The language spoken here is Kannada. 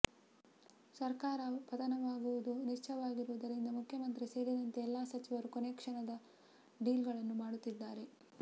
ಸರ್ಕಾರ ಪಥನವಾಗುವುದು ನಿಶ್ಚಯವಾಗಿರುವದುರಿಂದ ಮುಖ್ಯಮಂತ್ರಿ ಸೇರಿದಂತೆ ಎಲ್ಲ ಸಚಿವರು ಕೊನೆಯ ಕ್ಷಣದ ಡೀಲ್ಗಳನ್ನು ಮಾಡುತ್ತಿದ್ದಾರೆ